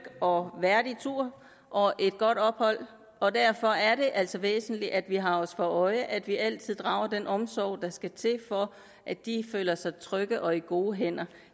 og værdig tur og et godt ophold og derfor er det altså væsentligt at vi har os for øje at vi altid drager den omsorg der skal til for at de føler sig trygge og i gode hænder